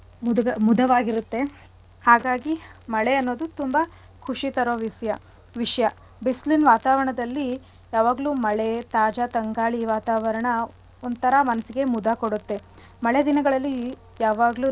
ಹಾಗಾಗಿ ಮಳೆ ಅನ್ನೋದು ತುಂಬಾ ಖುಷಿ ತರೋ ವಿಷ್ಯ ವಿಷ್ಯ ಬಿಸ್ಲಿನ್ ವಾತಾವರಣದಲ್ಲಿ ಯಾವಾಗ್ಲು ಮಳೆ ತಾಜಾ ತಂಗಾಳಿ ವಾತಾವರಣ ಒಂತರ ಮನ್ಸಿಗೆ ಮುದ ಕೊಡತ್ತೆ. ಮಳೆ ದಿನಗಳಲ್ಲಿ ಯಾವಾಗ್ಲೂನು ಘಾಡ್ವಾದ್.